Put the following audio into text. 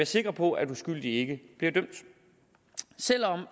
sikre på at uskyldige ikke bliver dømt selv om